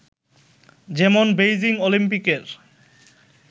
যেমন বেইজিং অলিম্পিকের